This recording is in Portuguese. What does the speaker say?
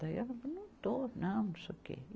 Daí ela, não estou, não, não sei o quê.